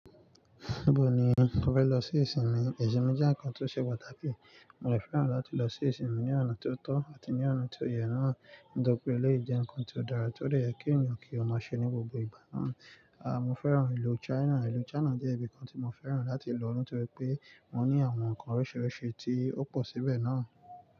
Ibo ni o fẹ́ lọ sí ìsinmi? Ìsinmi jẹ́ ǹkan tó ṣe pàtàkì. Mo fẹ́ràn láti lọ sí ìsinmi ní ọ̀nà tó tọ́ àti ní ọ̀nà tó yẹ náà. Nítorí pé eléyii jẹ́ ǹkan tó dára, tó dè yẹ kí ènìyàn kí ó má ṣe ní gbogbo ìgbà náà. Aà, mo fẹ́ràn ìlú China. Ìlú China jẹ́ ibi kan tí mo fẹ́ràn láti lọ, nítorí pé wọ́n ní àwọn ǹkan oríṣiríṣi tí ó pọ̀ síbẹ̀ náà.